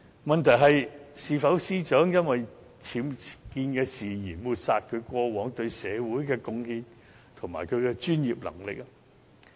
問題是，是否因為司長僭建事件而抹煞她過往對社會的貢獻及專業能力？